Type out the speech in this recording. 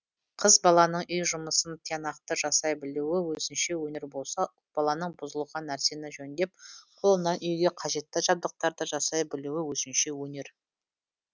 қыз баланың үй жұмысын тиянақты жасай білуі өзінше өнер болса ұл баланың бұзылған нәрсені жөндеп қолынан үйге қажетті жабдықтарды жасай білуі өзінше өнер